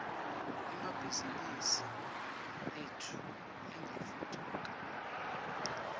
emabhizimisi etfu angatfutfuka